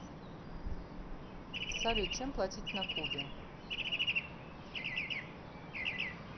салют чем платить на кубе